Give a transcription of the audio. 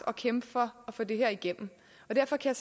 at kæmpe for at få det her igennem og derfor kan